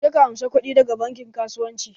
Je ka amsa kudi da ga bankin kasuwanci.